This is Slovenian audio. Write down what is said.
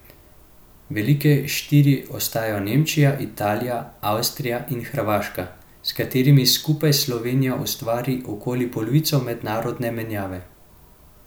Velike štiri ostajajo Nemčija, Italija, Avstrija in Hrvaška, s katerimi skupaj Slovenija ustvari okoli polovico mednarodne menjave.